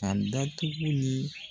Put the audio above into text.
Ka datigi ni